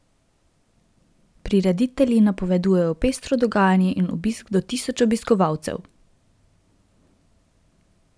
Prireditelji napovedujejo pestro dogajanje in obisk do tisoč obiskovalcev.